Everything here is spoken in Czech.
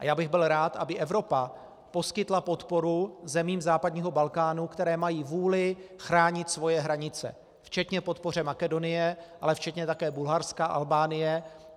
A já bych byl rád, aby Evropa poskytla podporu zemím západního Balkánu, které mají vůli chránit svoje hranice, včetně podpory Makedonie, ale včetně také Bulharska, Albánie.